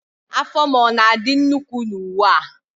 Afọ m ọ na-adị nnukwu na uwe a?